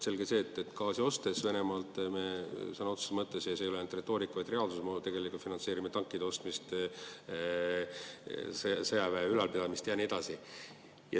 Selge see, et ostes Venemaalt gaasi, me sõna otseses mõttes – ja see ei ole retoorika, vaid reaalsus – tegelikult finantseerime tankide ostmist, sõjaväe ülalpidamist ja nii edasi.